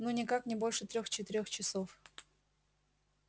ну никак не больше трёх-четырёх часов